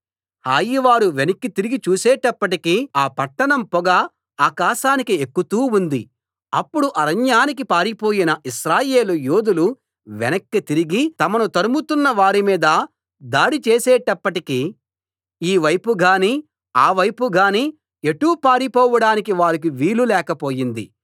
హాయివారు వెనక్కి తిరిగి చూసేటప్పటికి ఆ పట్టణం పొగ ఆకాశానికి ఎక్కుతూ ఉంది అప్పుడు అరణ్యానికి పారిపోయిన ఇశ్రాయేలు యోధులు వెనక్కి తిరిగి తమను తరుముతున్న వారిమీద దాడిచేసేటప్పటికి ఈ వైపు గానీ ఆ వైపు గానీ ఎటూ పారిపోవడానికి వారికి వీలు లేకపోయింది